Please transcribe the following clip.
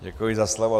Děkuji za slovo.